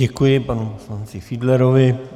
Děkuji panu poslanci Fiedlerovi.